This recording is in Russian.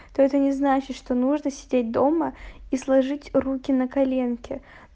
то это не значит что нужно сидеть дома и сложить руки на коленке